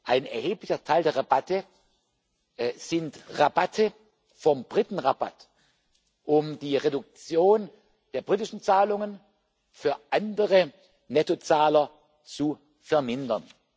Ein erheblicher Teil der Rabatte sind Rabatte vom Britenrabatt, um die Reduktion der britischen Zahlungen für andere Nettozahler zu vermindern.